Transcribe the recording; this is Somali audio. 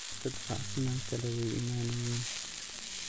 Dad facsiman kale way imanayin.